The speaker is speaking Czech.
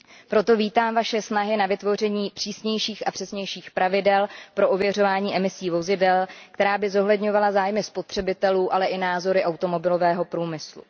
Proto vítám vaše snahy na vytvoření přísnějších a přesnějších pravidel pro ověřování emisí vozidel, která by zohledňovala zájmy spotřebitelů, ale i názory automobilového průmyslu.